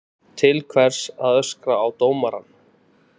Til hvers að öskra á dómarann?